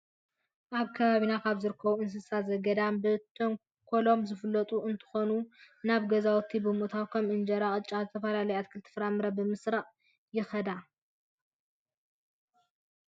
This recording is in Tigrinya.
ኣብ ከባቢና ካብ ዝርከቡ እንስሳ ዘገዳም ብተንኮሎም ዝፍለጡ እንትኾኑ ናብ ገዛውቲ ብምእታው ከም እንጀራ፣ ቅጫን ዝተፈላለዩ ኣትክልትን ፍራፍረን ብምስራቅ ይኸዳ።